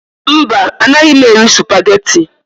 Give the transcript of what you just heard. Mba, anaghị m eri supageti.